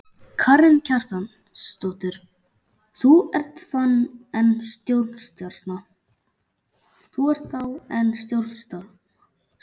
Karen Kjartansdóttir: Þú ert þá enn stórstjarna?